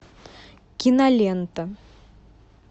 кинолента